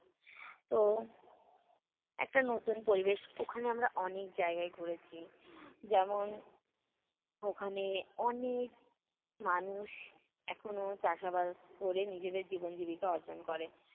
তো, একটা নতুন পরিবেশ ওখানে আমরা অনের জায়গায় ঘুরেছি। যেমন ওখানে অনেক মানুষ এখনও চাষাবাদ ক'রে নিজেদের জীবন জীবিকা অর্জন করে।